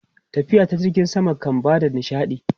Tafiya ta jirgin sama kan ba da nishaɗi.